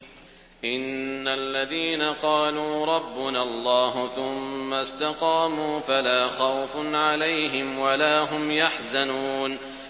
إِنَّ الَّذِينَ قَالُوا رَبُّنَا اللَّهُ ثُمَّ اسْتَقَامُوا فَلَا خَوْفٌ عَلَيْهِمْ وَلَا هُمْ يَحْزَنُونَ